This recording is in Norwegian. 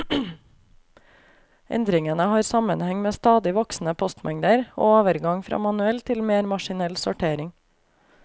Endringene har sammenheng med stadig voksende postmengder og overgang fra manuell til mer maskinell sortering.